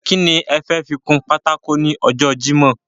Ki ni e fẹ́ fi kun pátákó ní ọjọ́ jímòh?